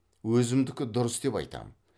өзімдікі дұрыс деп айтам